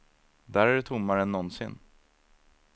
Där är det tommare än någonsin.